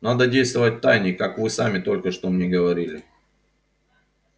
надо действовать втайне как вы сами только что мне говорили